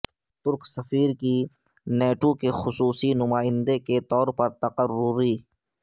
ترک سفیر کی نیٹو کے خصوصی نمائندے کے طور پر تقرری